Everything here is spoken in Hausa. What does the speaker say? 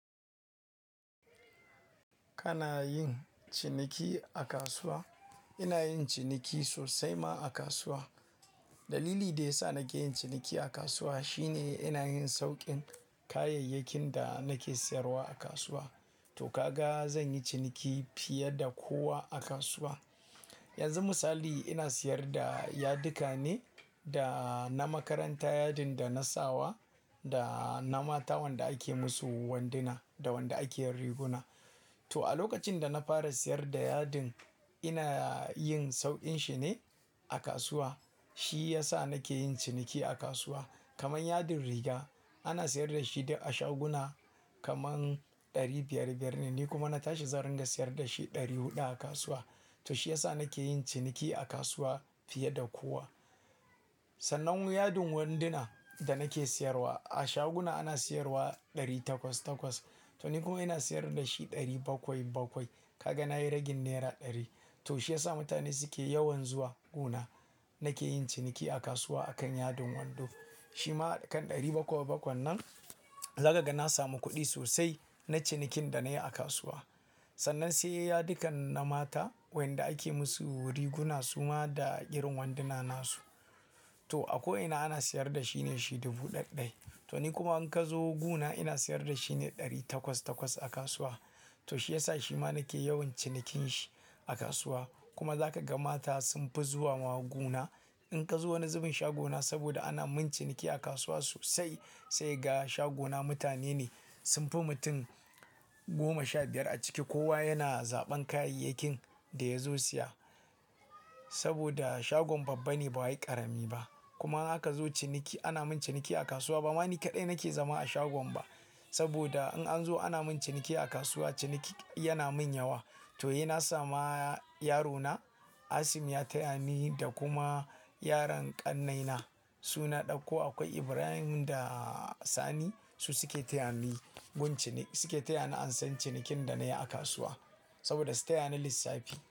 Kana yin ciniki a kasuwa? Ina yin ciniki sosai ma a kasuwa. Dalili da ya sa nake yin ciniki a kasuwa shine ina yin sauƙin kayayyakin da nake sayarwa a kasuwa. To kaga zan yi ciniki fiye da kowa a kasuwa. Yanzu misali ina sayar da yadika ne da na makaranta, yadin da na sawa da na mata wanda ake musu wanduna da wanda ake yin riguna. To a lokacin da na fara sayar da yadin ina yin sauƙin shi ne a kasuwa. Shi ya sa nake yin ciniki a kasuwa. Kaman yadin riga ana sayar da shi duk a shaguna kaman ɗari biyar biyar ne, ni kuma na tashi zaran da sayar da shi ɗari huɗa a kasuwa. To shi ya sa nake yin ciniki a kasuwa fiye da kowa. Sannan yadin wanduna da nake sayarwa a shaguna ana sayarwa ɗari takwas takwas. To ni kuma ina sayar da shi ɗari bakwai bakwai. Kaga na yi ragin nera ɗari. To shi ya sa mutane suke yawan zuwa guna. Nake yin ciniki a kasuwa akan yadin wando. Shi ma akan ɗari bakwai bakwai nan zaka ga na samu kuɗi sosai na cinikin da na yi a kasuwa. Sannan sai yadukan na mata wanda ake musu riguna suma da irin wanduna nasu. To a ko'ina ana sayar da shine shi dubu ɗaya ɗaya. To ni kuma in ka zo guna ina sayar da shi ne ɗari takwas takwas a kasuwa. To shi ya sa shi ma nake yawan cinikin shi a kasuwa. Kuma za ka ga mata sun fi zuwa ma guna. In ka zo wani zubin shagona saboda ana mun ciniki a kasuwa sosai. Sai ga shagona mutane ne sun fi mutum goma sha biyar a ciki. Kowa yana zaɓan kayayyakin da ya zo siya saboda shagon babba ne ba wa yi ƙarami ba. Kuma in aka zo ciniki ana mun ciniki a kasuwa. Ba ma ni kaɗai nake zama a shagon ba saboda in an zo ana mun ciniki a kasuwa. Ciniki yana mun yawa. To he na sama yarona Asim ya taya ni da kuma yaran ƙannaina suna ɗakko. Akwai Ibrahim da Sani su suke taya ni gun ciniki suke taya ni an san cinikin da na yi a kasuwa saboda su taya ni lissafi.